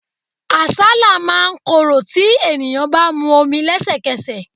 Àsálà máa ń korò tí ènìyàn bá mu omi lesekese.